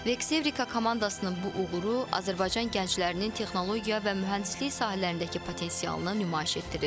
Vex Evrika komandasının bu uğuru Azərbaycan gənclərinin texnologiya və mühəndislik sahələrindəki potensialını nümayiş etdirir.